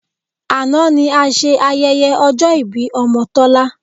Àná ni a ṣe ayẹyẹ ọjọ́ ìbí ọmọ Tọ́lá